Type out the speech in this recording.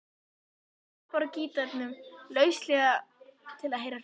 Hemmi klappar gítarnum lauslega til að heyra hljómana.